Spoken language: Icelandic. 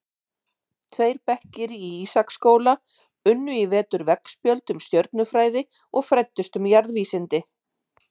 Tveir bekkir í Ísaksskóla unnu í vetur veggspjöld um stjörnufræði og fræddust um jarðvísindi.